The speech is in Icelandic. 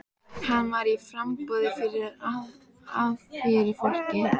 Hann var í framboði fyrir Alþýðuflokkinn.